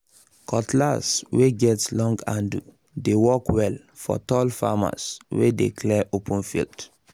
cutlass wey get um long handle dey work well for tall farmers wey dey clear open field